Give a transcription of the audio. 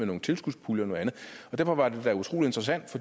nogle tilskudspuljer og noget andet og derfor var det da utrolig interessant